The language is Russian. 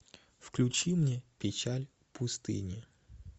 включи мне печаль пустыни